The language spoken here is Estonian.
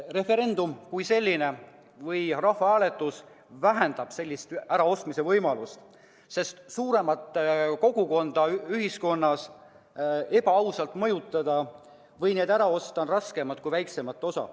Referendum või rahvahääletus kui selline vähendab sellist äraostmise võimalust, sest suuremat kogukonda ühiskonnas ebaausalt mõjutada või ära osta on raskem kui väiksemat osa.